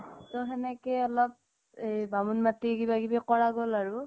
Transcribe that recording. তও সেনেকেই অলপ এই বামুন মাতি কিবা কিবি কৰা গল আৰু